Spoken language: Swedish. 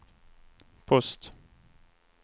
post